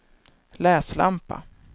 läslampa